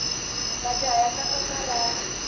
majaha ya tlanga karati